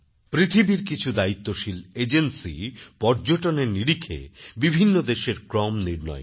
পৃথিবীর কিছু দায়িত্বশীল এজেন্সি পর্যটনের নিরিখেবিভিন্ন দেশের ক্রম নির্ণয় করে